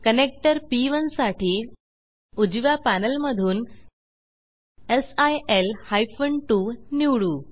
connector पी1 साठी उजव्या पॅनेलमधून सिल हायफेन 2 निवडू